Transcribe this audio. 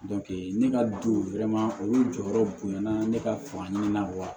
ne ka du olu jɔyɔrɔ bonyana ne ka fani na wa